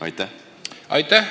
Aitäh!